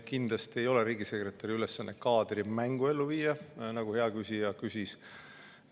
Kindlasti ei ole riigisekretäril ülesannet kaadrimängu ellu viia, nagu hea küsija küsis.